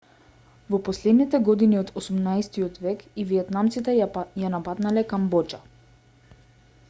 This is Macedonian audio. во последните години од 18тиот век и виетнамците ја нападнале камбоџа